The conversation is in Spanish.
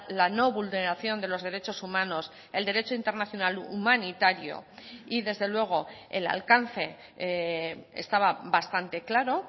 la no vulneración de los derechos humanos el derecho internacional humanitario y desde luego el alcance estaba bastante claro